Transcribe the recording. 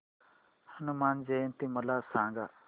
हनुमान जयंती मला सांगा